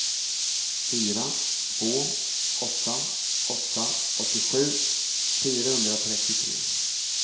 fyra två åtta åtta åttiosju fyrahundratrettiotre